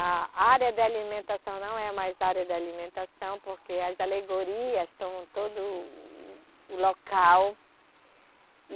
A área da alimentação não é mais área da alimentação, porque as alegorias estão em todo o, o local. E